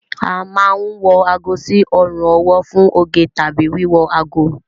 A máa ń wọ ago sí ọrùn ọwọ́ fún oge tàbí wíwo ago